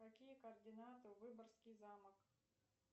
какие координаты выборгский замок